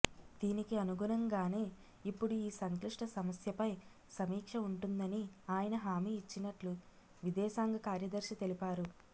దీనికి అనుగుణంగానే ఇప్పుడు ఈ సంక్లిష్ట సమస్యపై సమీక్ష ఉంటుందని ఆయన హామీ ఇచ్చినట్లు విదేశాంగ కార్యదర్శి తెలిపారు